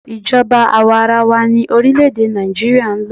Ijoba àwarawa ni orílẹ̀-èdè Nàìjíríà ń lò.